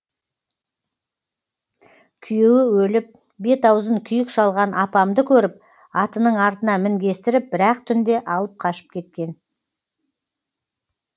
күйеуі өліп бет аузын күйік шалған апамды көріп атының артына мінгестіріп бір ақ түнде алып қашып кеткен